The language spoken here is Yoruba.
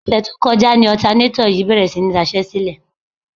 Ọ̀sẹ̀ tí ó kọjá ni ọ̀tanátọ̀ yìí bèrè sí ní daṣẹ́sílẹ̀.